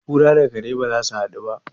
kura da kare ba za su hadu ba